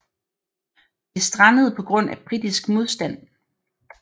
Det strandede på grund af britisk modstand